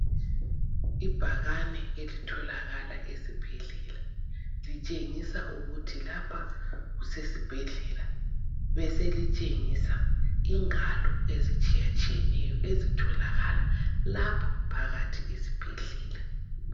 Ibhakane elitholakala esibhedlela. Litshengisa ukuthi lapha kusesibhedlela beselitshengisa ingalo ezitshayatshiyeneyo ezitholakala lapha phakathi esibhedlela.